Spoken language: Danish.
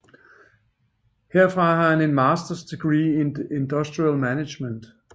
Herfra har han en Masters degree in Industrial Management